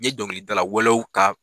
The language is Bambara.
N ye dɔnkilidala wɛlɛw ka.